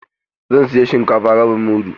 Zan saya shinkafa rabin mudu.